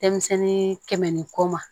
Denmisɛnnin kɛmɛ ni kɔ ma